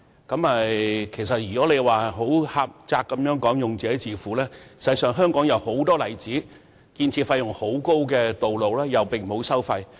儘管政府以"用者自付"原則作為回應，但香港有很多建造費用高昂的道路其實並無收費。